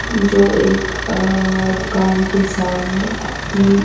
जो एक अ दुकान के सामने अपनी--